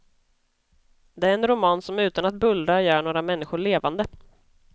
Det är en roman som utan att bullra gör några människor levande.